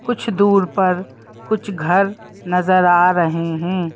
कुछ दूर पर कुछ घर नजर आ रहे हैं।